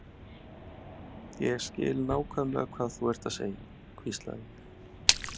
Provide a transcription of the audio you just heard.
Ég skil nákvæmlega hvað þú ert að segja hvíslaði ég.